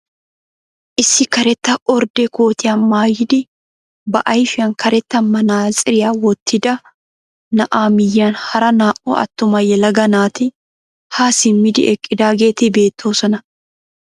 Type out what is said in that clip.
Issi karetta ordde kootiyaa maayidi ba ayfiyaan karetta manaatsiriyaa wottida na'aa miyiyaan hara naa"u attuma yelaga naati haa simmidi eqqidaageeti beettoosona.